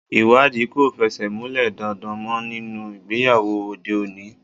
Ìwádìí kò fẹsẹ̀ múlẹ̀ daindain mọ́ nínú ìgbéyàwó òde òní.